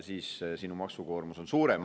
Siis on sinu maksukoormus suurem.